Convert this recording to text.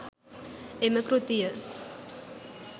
එම කෘතිය